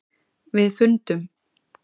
. við fundum.